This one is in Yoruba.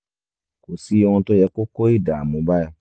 kò sí ohun tó yẹ kó kó ìdààmú bá ẹ